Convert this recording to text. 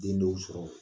Den dɔw sɔrɔ